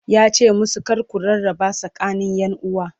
yace musu "kar ku rarraba tsakanin ƴanuwa!"